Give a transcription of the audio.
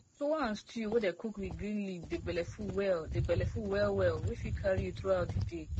tuwo and stew wey dey cook with green leaf dey belleful well dey belleful well well wey fit carry you through out the day